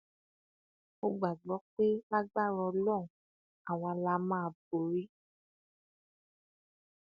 mo gbàgbọ pé lágbára ọlọrun àwa la máa borí